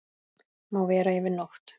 Má vera yfir nótt.